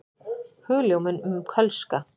Hugljómun um kölska.